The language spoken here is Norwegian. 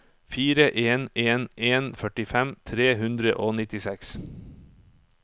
fire en en en førtifem tre hundre og nittiseks